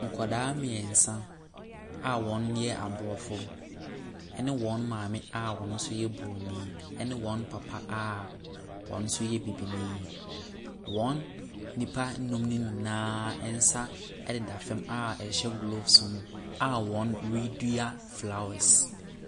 Nkwadaa mmeɛnsa a wɔyɛ Aborɔfo ne wɔn maame a ɔno so yɛ Bronin ne wɔn papa a ɔno nso yɛ Bibini. Wɔn nnipa nnum nonyinaa nsa deda fam a ɛhyehyɛ gloves mu, a wɔredua flowers.